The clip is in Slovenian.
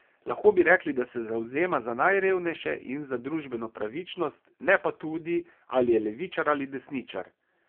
Lahko bi rekli, da se zavzema za najrevnejše in za družbeno pravičnost, ne pa tudi, ali je levičar ali desničar.